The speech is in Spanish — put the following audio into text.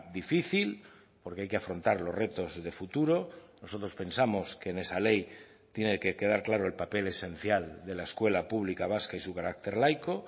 difícil porque hay que afrontar los retos de futuro nosotros pensamos que en esa ley tiene que quedar claro el papel esencial de la escuela pública vasca y su carácter laico